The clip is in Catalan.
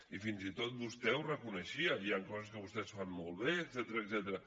i fins i tot vostè ho reconeixia hi han coses que vostès fan molt bé etcètera